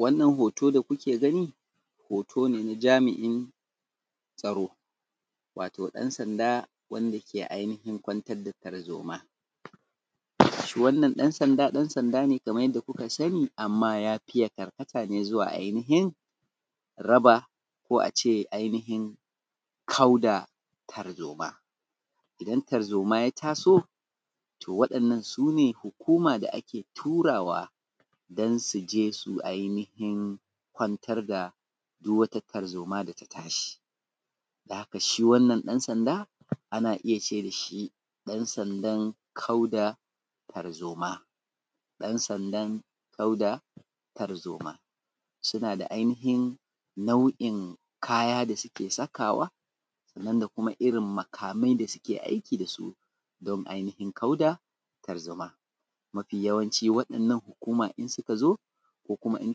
Wannan hoto da kuke gani hoto ne na jami’in tsaro, wato ɗansanda wanda ke ainihin kwantar da tarzoma. Shi wannan dansanda, dansanda ne kamar yadda kuka sani amma ya fiye karkata ne ainihin raba ko ace ainihin kau da tarzoma, idan tarzoma ya ta so to wa’innan su ne hukuma da ake turawa don su je su ainihin kwantar da duk wata tarzoma, don haka shi wannan dansanda ana iya ce dashi dansandan kau da tarzoma, ɗansandan mai da tarzoma, suna da ainihin nau’in kaya da suke sakawa sannan da kuma irin makamai da suke aiki dasu don ainihin kauda tarzomo. Mafi yacanci wa’inna hukuma in suka zo ko kuma in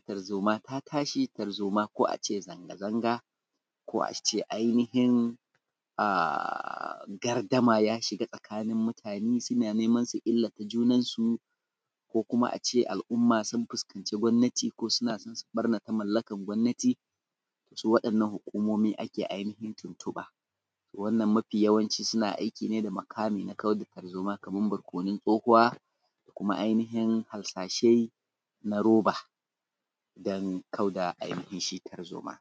tarzoma ta tashi ko ace zanga zanga ko ace ainihin gardama ya shiga tsakanin mutane suna nema su ilata junansu ko kuma ace al’umma sun fuskanci gomnati ko suna so su bartana mallakan gonnati su wa’innan hukumomi ake ainihin tuntuɓa wannan mafi yawanci suna aiki ne da makami na kau da tarzoma kaman barkonun tsohuwa da kuma ainihin harsashe na roba don kau da ainihin shi tarzoma.